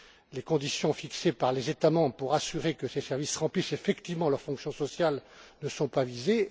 Les conditions fixées par les États membres pour assurer que ces services remplissent effectivement leur fonction sociale ne sont pas visées.